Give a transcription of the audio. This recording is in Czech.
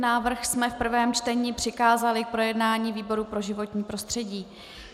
Návrh jsme v prvém čtení přikázali k projednání výboru pro životní prostředí.